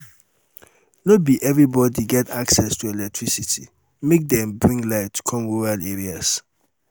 no be everybodi get access to electricity make dem bring light come rural areas.